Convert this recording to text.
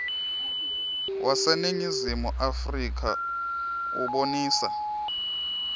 waseningizimu afrika ubonisa